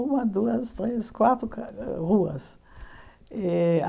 Uma, duas, três, quatro ca eh ruas. Eh